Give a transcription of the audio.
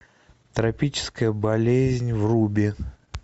тропическая болезнь вруби